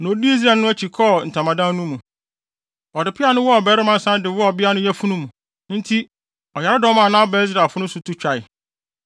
na odii Israelni no akyi kɔɔ ntamadan no mu. Ɔde peaw no wɔɔ ɔbarima no san de wɔɔ ɔbea no yafunu mu. Enti ɔyaredɔm a na aba Israelfo no so no to twae;